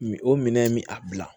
Min o minɛn in bi a bila